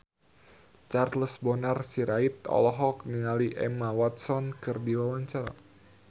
Charles Bonar Sirait olohok ningali Emma Watson keur diwawancara